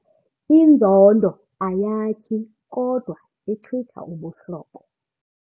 Inzondo ayakhi kodwa ichitha ubuhlobo.